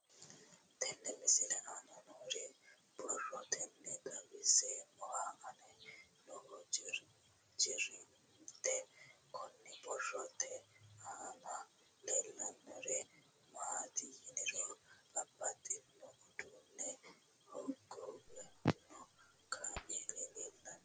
Tenne misile aana noore borroteni xawiseemohu aane noo gariniiti. Kunni borrote aana leelanori maati yiniro babbaxinno uduune hogowanno kaameli leelanno.